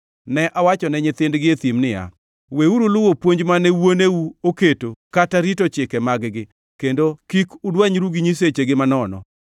Ne awachone nyithindgi e thim niya, “Weuru luwo puonj mane wuoneu oketo kata rito chike mag-gi, kendo kik udwanyru gi nyisechegi manono.